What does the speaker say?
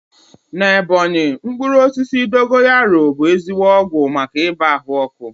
Na Ebọnyi, mkpụrụ osisi dogoyaru bụ ezigbo ọgwụ maka ibàa ahụ ọkụ